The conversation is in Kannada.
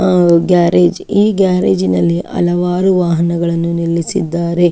ಆಹ್ಹ್ ಗ್ಯಾರೇಜ್ . ಈ ಗ್ಯಾರೇಜ್ ಇನಲ್ಲಿ ಹಲವಾರು ವಾಹನಗಳನ್ನು ನಿಲ್ಲಿಸಿದ್ದಾರೆ.